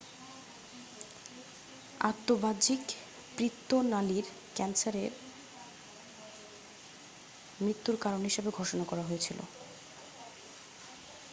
আন্তঃবাহিক পিত্ত নালীর ক্যান্সারকে মৃত্যুর কারণ হিসাবে ঘোষণা করা হয়েছিল